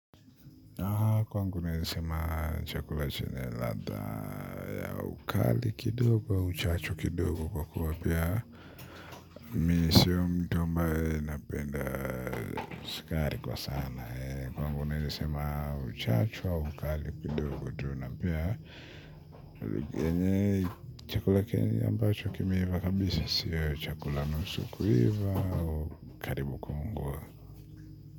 Kwangu naweza sema chakula chenye ladha ya ukali kidogo uchachu kidogo kwa kuwa pia mimi sio mtu ambaye napenda sukari kwa sana kwangu naweza sema uchachu au ukali kidogo tu na pia uli yenye chakula kenye ambacho kimeiva kabisa sio chakula nusu kuiva u karibu kuungua.